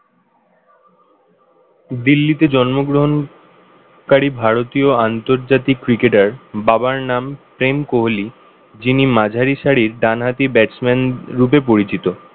দিল্লিতে জন্মগ্রহণকারী ভারতীয় আন্তর্জাতিক cricketer বাবার নাম প্রেম কোহলি যিনি মাঝারি সারির ডানহাতি batsman রূপে পরিচিত